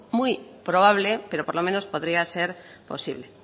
muy probable pero por lo menos podría ser posible